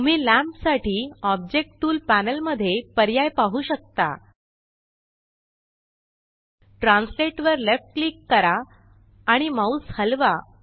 तुम्ही लॅंम्प साठी object tool panel मध्ये पर्याय पाहु शकता ट्रान्सलेट वर लेफ्ट क्लिक करा आणि माउस हलवा